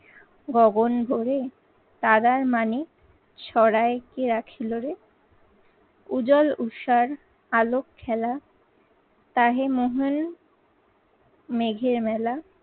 গগন ভোরে দাদার মানে সরায় কে রাখিল রে। উজ্জ্বল ঊর্ষার, আলোক খেলা. তাহে মোহন মেঘের মেলা